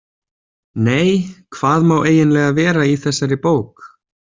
Nei, hvað má eiginlega vera í þessari bók?